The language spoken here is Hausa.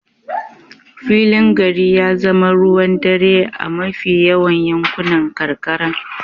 Filin gari ya zama ruwan dare a mafi yawan yankunan karkara.